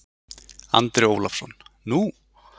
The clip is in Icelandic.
Andri Ólafsson: Nú?